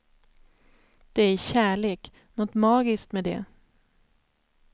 Det är kärlek, något magiskt med det.